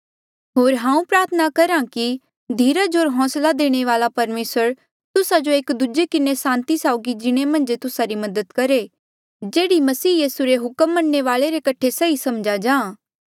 होर हांऊँ प्रार्थना करहा कि धीरज होर होंसला देणे वाल्आ परमेसर तुस्सा जो एक दूजे किन्हें सांति साउगी जीणे मन्झ तुस्सा री मदद करहे जेह्ड़ी मसीह यीसू रे हुक्म मन्ने वाले रे कठे सही समझा जां